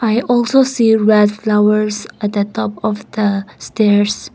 I also see red flowers at the top of the stairs.